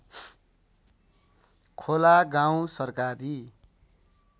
खोला गाउँ सरकारी